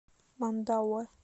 мандауэ